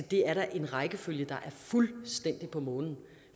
det er da en rækkefølge der er fuldstændig på månen